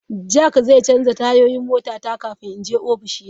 Jack zai canza tayoyin motata kafin in je ofishina.